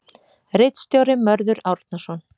Ritstjóri Mörður Árnason.